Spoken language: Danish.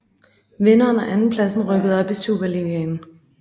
Vinderen og andenpladsen rykkede op i Superligaen